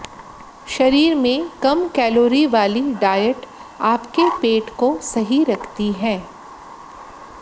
शरीर में कम कैलोरी वाली डायट आपके पेट को सही रखती है